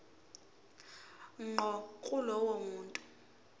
ngqo kulowo muntu